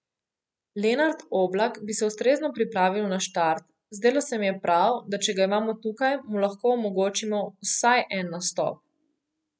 Lenart Oblak bi se ustrezno pripravil na štart, zdelo se mi je prav, da če ga imamo tukaj, mu lahko omogočimo vsaj en nastop.